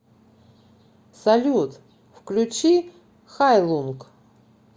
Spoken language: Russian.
салют включи хайлунг